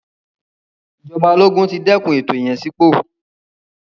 Ìjọba ológun ti dẹ́kun ètò ìyànsípò.